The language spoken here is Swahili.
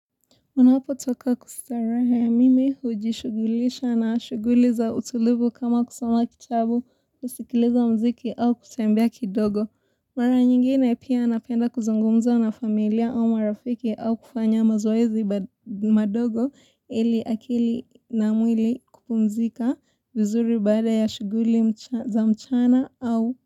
Ninapotoka kwa starehe mimi hujishughulisha na shughuli za utulivu kama kusoma kitabu, kuskiliza mziki au kutembea kidogo. Mara nyingine pia napenda kuzungumza na familia au marafiki au kufanya mazoezi madogo ili akili na mwili kupumzika vizuri baada ya shughuli za mchana au.